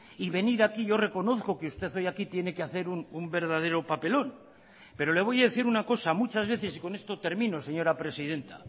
y venir aquí y yo reconozco que usted hoy aquí tiene que hacer un verdadero papelón pero le voy a decir una cosa muchas veces y con esto termino señora presidenta